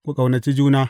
Ku ƙaunaci juna.